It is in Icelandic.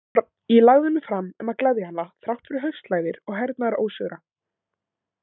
Ég lagði mig fram um að gleðja hana þrátt fyrir haustlægðir og hernaðarósigra.